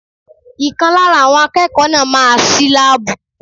Ìkan lára àwọn akẹ́kọ̀ọ́ náà máa ṣí láàbù.